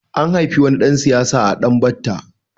An haifi wani ɗan siyasa a Danbatta.